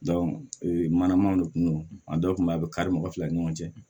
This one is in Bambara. ee mana man go a dɔw kun bɛ a bɛ kari mɔgɔ fila ni ɲɔgɔn cɛ